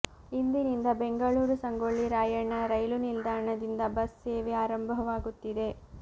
ಇಂದಿನಿಂದ ಬೆಂಗಳೂರು ಸಂಗೊಳ್ಳಿ ರಾಯಣ್ಣ ರೈಲು ನಿಲ್ದಾಣದಿಂದ ಬಸ್ ಸೇವೆ ಆರಂಭವಾಗುತ್ತಿದೆ